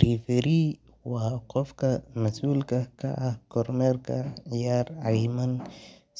Referee waa qofka mas'ulka ka ah kormeerka ciyaar cayiman